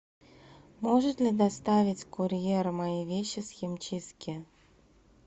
может ли доставить курьер мои вещи с химчистки